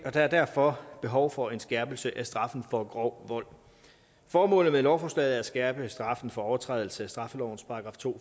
er derfor behov for en skærpelse af straffen for grov vold formålet med lovforslaget er at skærpe straffen for overtrædelse af straffelovens § to